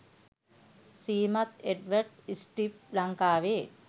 ශ්‍රීමත් එඞ්වර්ඞ් ස්ට්බ් ලංකාවේ